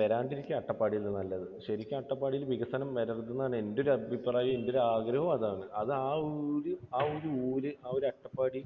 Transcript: വരാതിരിക്കുകയാണ് അട്ടപ്പാടിയിൽ നല്ലത്. ശരിക്ക് അട്ടപ്പാടിയിൽ വികസനം വരരുത് എന്നാണ് എൻറെ ഒരു അഭിപ്രായവും എൻറെ ഒരു ആഗ്രഹവും അതാണ്. അത് ആ ഒരു ഊര്, ആ ഒരു അട്ടപ്പാടി